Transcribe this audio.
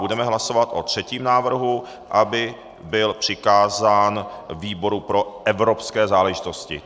Budeme hlasovat o třetím návrhu, aby byl přikázán výboru pro evropské záležitosti.